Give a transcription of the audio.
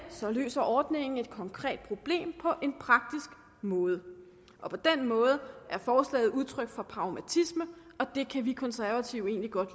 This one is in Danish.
løser ordningen et konkret problem på en praktisk måde på den måde er forslaget udtryk for pragmatisme og det kan vi konservative egentlig godt